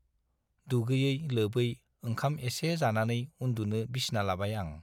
दुगैयै लोबै ओंखाम एसे जानानै उन्दुनो बिसना लाबाय आं।